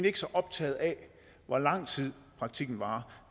ikke så optaget af hvor lang tid praktikken varer